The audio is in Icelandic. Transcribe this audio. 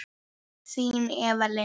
Þín Eva Lind.